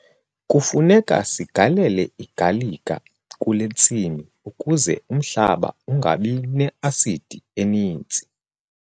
Kufuneka sigalele igalika kule ntsimi ukuze umhlaba ungabi ne-asidi eninzi.